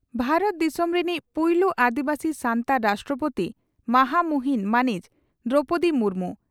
ᱵᱷᱟᱨᱚᱛ ᱫᱤᱥᱚᱢ ᱨᱮᱱᱤᱡ ᱯᱩᱭᱞᱩ ᱟᱹᱫᱤᱵᱟᱹᱥᱤ ᱥᱟᱱᱛᱟᱲ ᱨᱟᱥᱴᱨᱚᱯᱳᱛᱤ ᱢᱟᱦᱟᱢᱩᱦᱤᱱ ᱢᱟᱹᱱᱤᱡ ᱫᱨᱚᱣᱯᱚᱫᱤ ᱢᱩᱨᱢᱩ